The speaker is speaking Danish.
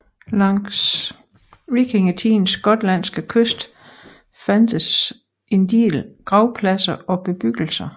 Langs vikingtidens gotlandske kyst fandtes en del gravpladser og bebyggelser